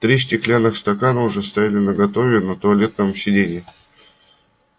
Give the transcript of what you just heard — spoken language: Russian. три стеклянных стакана уже стояли наготове на туалетном сиденье